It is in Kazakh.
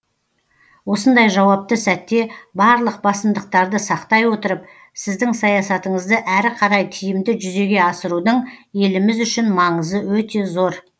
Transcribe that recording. осындай жауапты сәтте барлық басымдықтарды сақтай отырып сіздің саясатыңызды әрі қарай тиімді жүзеге асырудың еліміз үшін маңызы өте зор